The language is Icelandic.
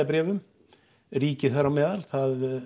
bréfum ríkið þar á meðal það